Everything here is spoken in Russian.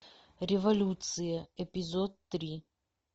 революция эпизод три